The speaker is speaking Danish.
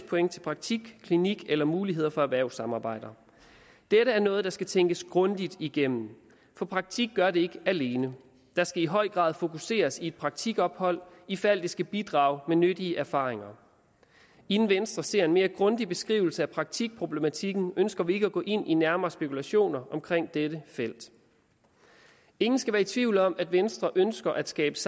point til praktik klinik eller muligheder for erhvervssamarbejder dette er noget der skal tænkes grundigt igennem for praktik gør det ikke alene der skal i høj grad fokuseres i et praktikophold ifald det skal bidrage med nyttige erfaringer inden venstre ser en mere grundig beskrivelse af praktikproblematikken ønsker vi ikke at gå ind i nærmere spekulationer omkring dette felt ingen skal være i tvivl om at venstre ønsker at skabe